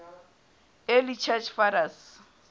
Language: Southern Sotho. early church fathers